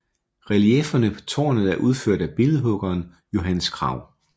Reliefferne på tårnet er udført af billedhuggeren Johannes Kragh